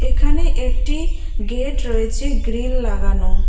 এখানে একটি গেট রয়েছে গ্রিল লাগানো।